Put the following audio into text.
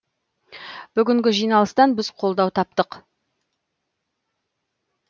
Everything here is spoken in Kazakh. бүгінгі жиналыстан біз қолдау таптық